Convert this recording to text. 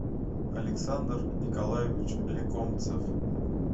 александр николаевич леконцев